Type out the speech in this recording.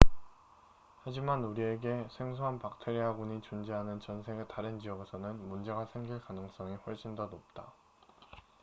하지만 우리에게 생소한 박테리아군이 존재하는 전 세계 다른 지역에서는 문제가 생길 가능성이 훨씬 더 높다